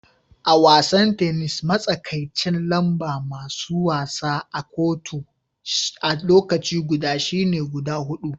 A'wasan tenis, matsakaicin lamba masun wasa a'kotun a lokaci guda shine guda hudu.